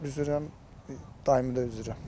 Mən üzürəm, daimi də üzürəm.